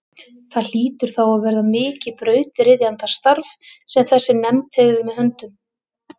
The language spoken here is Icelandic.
Það hlýtur þá að verða mikið brautryðjandastarf sem þessi nefnd hefur með höndum.